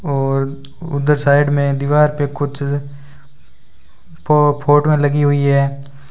और उधर साइड में दीवार पे कुछ फ़ फोटो लगी हुई है।